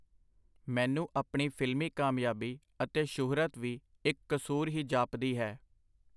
ਮੈਨੂੰ ਆਪਣੀ ਫਿਲਮੀ ਕਾਮਯਾਬੀ ਅਤੇ ਸ਼ੁਹਰਤ ਵੀ ਇਕ ਕਸੂਰ ਹੀ ਜਾਪਦੀ ਹੈ.